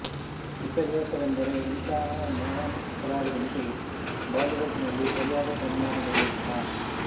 ವಿಪರ್ಯಾಸವೆಂದರೆ ಇಂತಹ ಮಹಾನ್ ಕಲಾವಿದನಿಗೆ ಬಾಲಿವುಡ್ ನಲ್ಲಿ ಸರಿಯಾದ ಸನ್ಮಾನ ದೊರೆಯಲಿಲ್ಲ